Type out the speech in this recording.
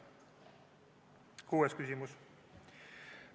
Kuues küsimus.